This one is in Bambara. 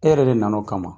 E yɛrɛ de nana o kama